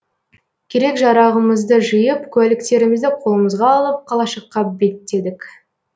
керек жарағымызды жиып куәліктерімізді қолымызға алып қалашыққа беттедік